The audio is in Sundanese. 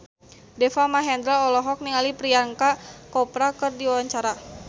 Deva Mahendra olohok ningali Priyanka Chopra keur diwawancara